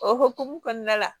O hokumu kɔnɔna la